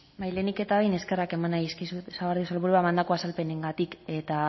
lehenik eta behin eskerrak eman nahi dizkizuet sagardui sailburua emandako azalpenengatik eta